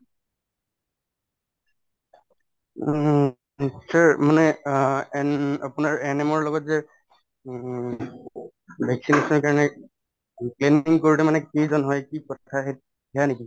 উউম, নিশ্চয় মানে অ AN আপোনাৰ ANM ৰ লগত যে উম vaccination ৰ কাৰণে উম plan কৰোতে মানে কেইজন হয় কি কথা সেইট নেকি